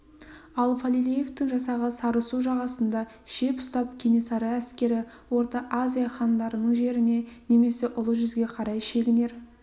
ал фалилеевтің жасағы сарысу жағасында шеп ұстап кенесары әскері орта азия хандарының жеріне немесе ұлы жүзге қарай шегінер